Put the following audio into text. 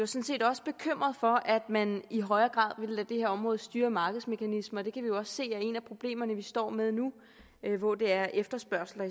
set også bekymret for at man i højere grad ville lade det her område styre af markedsmekanismer og det kan vi jo også se er et af problemerne som vi står med nu hvor det er efterspørgslen